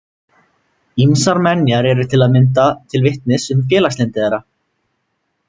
Ýmsar menjar eru til að mynda til vitnis um félagslyndi þeirra.